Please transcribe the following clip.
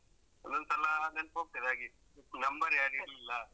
ಒಂದೊಂದ್ಸಲ ನೆನ್ಪೋಗ್ತದೆ ಹಾಗೆ number ಯಾರ್‌ ಇಲ್ಲ.